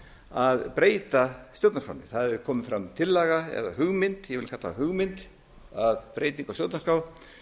að breyta stjórnarskránni það hefur komin fram tillaga eða hugmynd ég vil kalla það hugmynd að breytingu á stjórnarskrá